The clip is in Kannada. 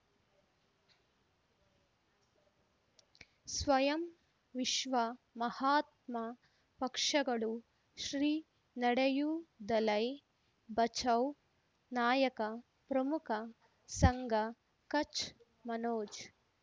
ಸ್ವಯಂ ವಿಶ್ವ ಮಹಾತ್ಮ ಪಕ್ಷಗಳು ಶ್ರೀ ನಡೆಯೂ ದಲೈ ಬಚೌ ನಾಯಕ ಪ್ರಮುಖ ಸಂಘ ಕಚ್ ಮನೋಜ್